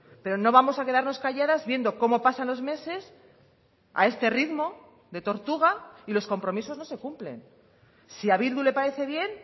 pero no vamos a quedarnos calladas viendo cómo pasan los meses a este ritmo de tortuga y los compromisos no se cumplen si a bildu le parece bien